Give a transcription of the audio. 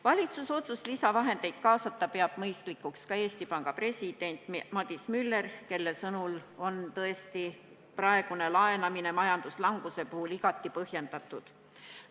Valitsuse otsust lisavahendeid kaasata peab mõistlikuks ka Eesti Panga president Madis Müller, kelle sõnul on praegune laenamine majanduslanguse puhul tõesti igati põhjendatud.